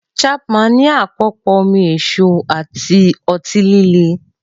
Chapman ní àpòpọ̀ omi èso àti ọtí líle.